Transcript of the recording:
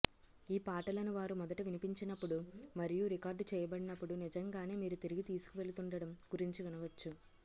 ఈ పాటలను వారు మొదట వినిపించినప్పుడు మరియు రికార్డు చేయబడినప్పుడు నిజంగానే మీరు తిరిగి తీసుకువెళుతుండటం గురించి వినవచ్చు